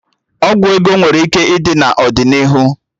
Ọgwụ ego nwere ike ịdi n'ọdịnihu